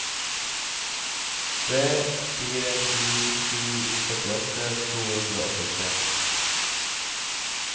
tre fire sju sju førtiåtte to hundre og åttitre